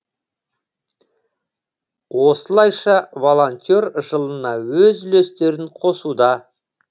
осылайша волонтер жылына өз үлестерін қосуда